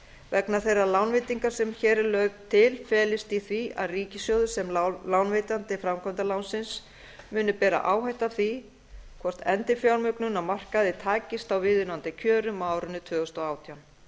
vegna þeirrar lánveitingar sem hér er lögð til felist í því að ríkissjóður sem lánveitandi framkvæmdalánsins muni bera áhættu af því hvort endurfjármögnun á markaði takist á viðunandi kjörum á árinu tvö þúsund og átján